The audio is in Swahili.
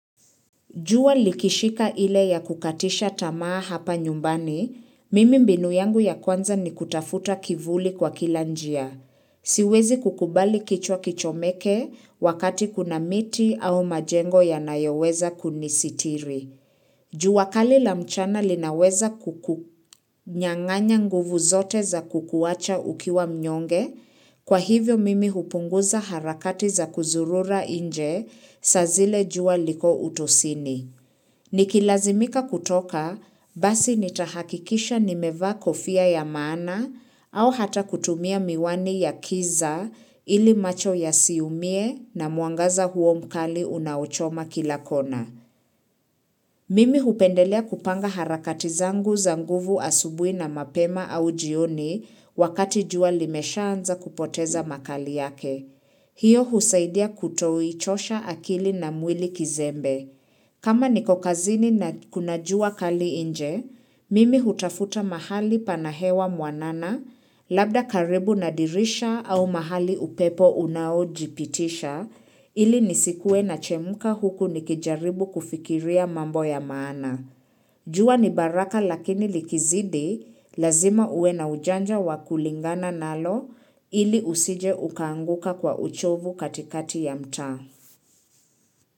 Jua likishika ile ya kukatisha tamaa hapa nyumbani, mimi mbinu yangu ya kwanza ni kutafuta kivuli kwa kila njia. Siwezi kukubali kichwa kichomeke wakati kuna miti au majengo ya nayoweza kunisitiri. Jua kali la mchana linaweza kuku nyanganya nguvu zote za kukuwacha ukiwa mnyonge, kwa hivyo mimi hupunguza harakati za kuzurura inje sa zile juwa liko utosini. Nikilazimika kutoka, basi nitahakikisha nimevaa kofia ya maana au hata kutumia miwani ya kiza ili macho yasiumie na mwangaza huo mkali unaochoma kila kona. Mimi hupendelea kupanga harakati zangu za nguvu asubuhi na mapema au jioni wakati jua limesha anza kupoteza makali yake. Hiyo husaidia kutoichocha akili na mwili kizembe. Kama niko kazini na kunajua kali inje, mimi hutafuta mahali panahewa mwanana labda karibu na dirisha au mahali upepo unaojipitisha ili nisikue na chemuka huku nikijaribu kufikiria mambo ya maana. Jua ni baraka lakini likizidi, lazima uwe na ujanja wa kulingana nalo ili usije ukaanguka kwa uchovu katikati ya mtaa.